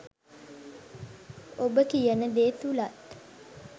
ඔබ කියන දේ තුලත්